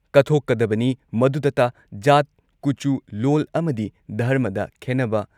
ꯀꯠꯊꯣꯛꯀꯗꯕꯅꯤ꯫ ꯃꯗꯨꯗꯇ ꯖꯥꯠ, ꯀꯨꯆꯨ, ꯂꯣꯜ ꯑꯃꯗꯤ ꯙꯔꯃꯗ ꯈꯦꯟꯅꯕ